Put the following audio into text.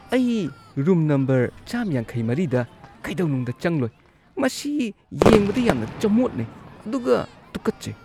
ꯑꯩ room number ꯱꯵꯴ꯗ ꯀꯩꯗꯧꯅꯨꯡꯗ ꯆꯪꯂꯣꯏ, ꯃꯁꯤ ꯌꯦꯡꯕꯗ ꯌꯥꯝꯅ ꯆꯃꯣꯠꯅꯩ ꯑꯗꯨꯒ ꯇꯨꯀꯠꯆꯩ꯫